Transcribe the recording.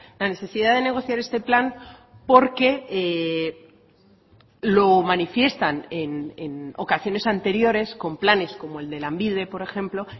la necesidad de negociar este plan porque lo manifiestan en ocasiones anteriores con planes como el de lanbide por ejemplo